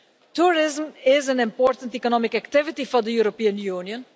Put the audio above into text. Tourism is an important economic activity for the European Union.